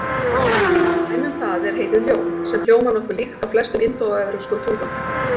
Dæmi um það er heitið ljón sem hljómar nokkuð líkt á flestum indóevrópskum tungum.